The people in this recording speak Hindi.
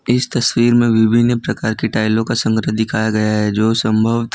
इस तस्वीर में विभिन्न प्रकार कि टाइलों का संग्रह दिखाया गया है जो संभवत कि--